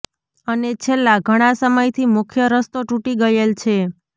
અને છેલ્લા ઘણા સમયથી મુખ્ય રસ્તો તૂટી ગયેલ છે